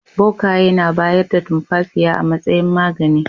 Bokaye na bayar da tumfafiya a matsayin magani.